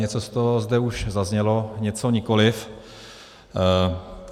Něco z toho už zde zaznělo, něco nikoliv.